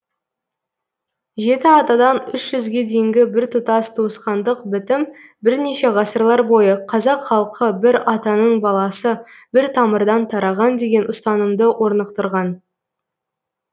жеті атадан үш жүзге дейінгі біртұтас туысқандық бітім бірнеше ғасырлар бойы қазақ халқы бір атаның баласы бір тамырдан тараған деген ұстанымды орнықтырған